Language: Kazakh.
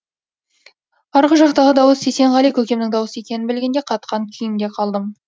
арғы жақтағы дауыс есенғали көкемнің дауысы екенін білгенде қатқан күйімде қалдым